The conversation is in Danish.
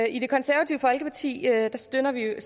i det konservative folkeparti støtter vi jo